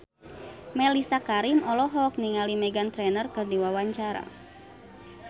Mellisa Karim olohok ningali Meghan Trainor keur diwawancara